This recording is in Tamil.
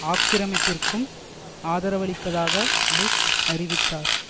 ஆக்கிரமிப்பிற்கும் ஆதரவளிப்பதாக புஷ் அறிவித்தார்